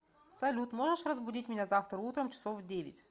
салют можешь разбудить меня завтра утром часов в девять